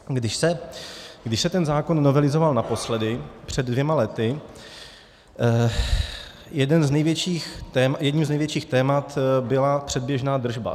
Když se ten zákon novelizoval naposledy před dvěma lety, jedním z největších témat byla předběžná držba.